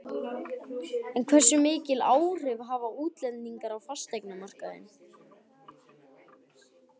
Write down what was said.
En hversu mikil áhrif hafa útlendingar á fasteignamarkaðinn?